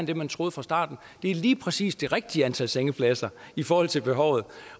det man troede fra starten lige præcis er det rigtige antal sengepladser i forhold til behovet